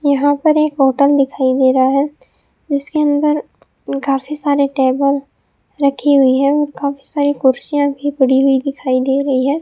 यहां पर एक होटल दिखाई दे रहा है जिसके अंदर काफी सारे टेबल रखी हुई है और काफी सारी कुर्सियां भी पड़ी हुई दिखाई दे रही है।